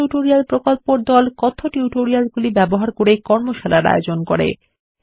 কথ্য টিউটোরিয়াল প্রকল্পর দল কথ্য টিউটোরিয়ালগুলি ব্যবহার করে কর্মশালার আয়োজন করে